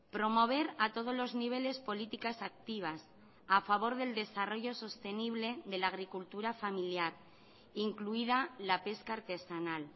promover a todos los niveles políticas activas a favor del desarrollo sostenible de la agricultura familiar incluida la pesca artesanal